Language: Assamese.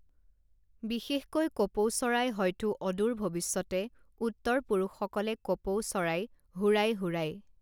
বিশেষকৈ কপৌ চৰাই হয়তো অদূৰ ভৱিষ্যতে উত্তৰ পুৰুষসকলে কপৌ চৰাই হুৰাই হুৰাই